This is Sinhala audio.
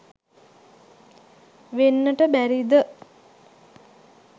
වෙන්නට බැරිද?